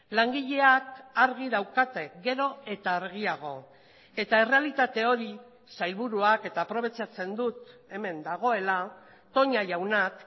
langileak argi daukate gero eta argiago eta errealitate hori sailburuak eta aprobetxatzen dut hemen dagoela toña jaunak